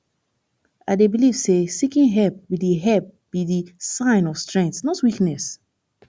i dey believe say seeking help be di help be di sign of strength not weakness